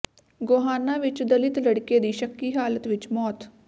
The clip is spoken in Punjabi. ਗੋਹਾਣਾ ਵਿੱਚ ਦਲਿਤ ਲੜਕੇ ਦੀ ਸ਼ੱਕੀ ਹਾਲਤ ਵਿੱਚ ਮੌਤ